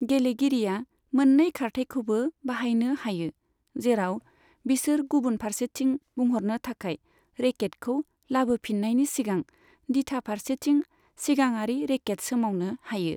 गेलेगिरिया मोननै खारथायखौबो बाहायनो हायो, जेराव बिसोर गुबुन फारसेथिं बुहरनो थाखाय रेकेटखौ लाबोफिन्नायनि सिगां दिथा फारसेथिं सिगाङारि रेकेट सोमावनो हायो।